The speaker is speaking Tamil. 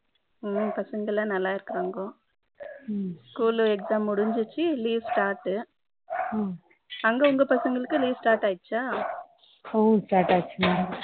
பசங்க எல்லாம் நல்லா இருக்காங்கோ school exam முடிச்சுது leave start அங்க உங்க பசங்களுக்கு leave start ஆயிடுச்சா start ஆயிடுச்சு மா